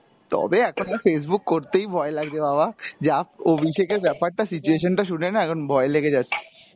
তবে এখন আর Facebook করতেই ভয় লাগছে বাবা যা অভিষেকের ব্যাপার টা situation টা শুনেনা এখন ভয় লেগে যাচ্ছে।